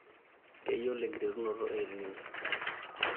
keyiolo enkiterunoto El Nino